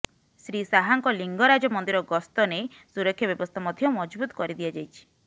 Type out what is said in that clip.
ଶ୍ରୀ ଶାହାଙ୍କ ଲିଙ୍ଗରାଜ ମନ୍ଦିର ଗସ୍ତ ନେଇ ସୁରକ୍ଷା ବ୍ୟବସ୍ଥା ମଧ୍ୟ ମଜବୁତ କରି ଦିଆଯାଇଛି